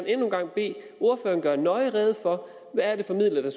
endnu en gang bede ordføreren gøre nøje rede for hvad er det for midler der